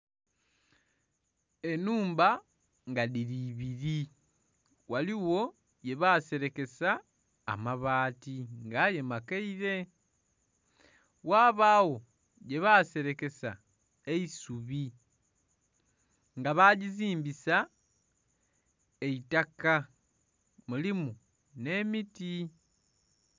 Enhumba nga dhiri ibiri ghaligho ye basirekesa amabaati nga aye makaire, ghabagho gye baserekesa eisubi nga bajizimbisa eitaka mulimu n'emiti.